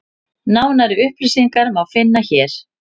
Nánari upplýsingar má finna hér.